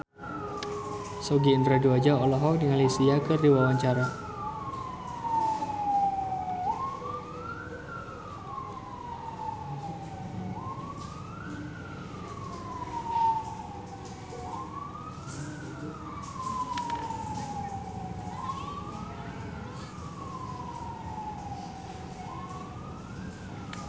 Sogi Indra Duaja olohok ningali Sia keur diwawancara